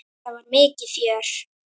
Þetta var mikið fjör.